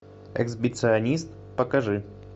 эксбиционист покажи